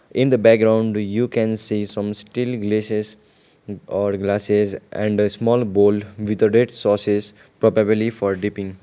in the background you can see some steel glesess or glasses and a small bowl with a red sauces popabely for dipping.